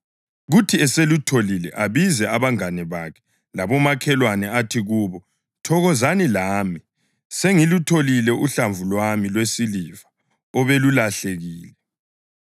Kuthi eselutholile abize abangane bakhe labomakhelwane, athi kubo, ‘Thokozani lami; sengilutholile uhlamvu lwami lwesiliva obelulahlekile.’